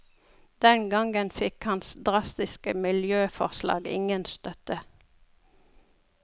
Den gangen fikk hans drastiske miljøforslag ingen støtte.